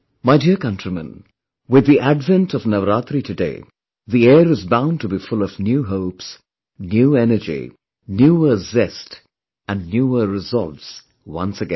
My dear countrymen, with the advent of Navaratri today, the air is bound to be full of new hopes, new energy, newer zest and newer resolves, once again